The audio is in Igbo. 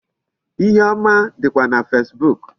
Ihe ọma dịkwa na Facebook.